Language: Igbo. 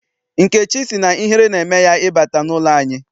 Nkechi sị na ihere na-eme ya ị bata n'ụlọ anyị.